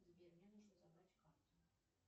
сбер мне нужно забрать карту